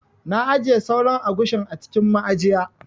Na ajiye sauran agushin a cikin ma'ajiya.